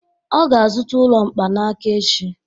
Ọ ga-azụta ụlọ mkpanaka echi